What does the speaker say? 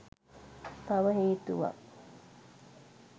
තව හේතුවක්.